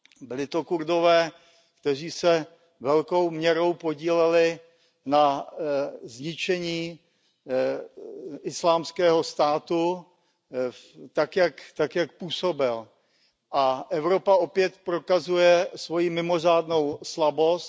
Byli to Kurdové, kteří se velkou měrou podíleli na zničení Islámského státu tak, jak působil. A Evropa opět prokazuje svoji mimořádnou slabost.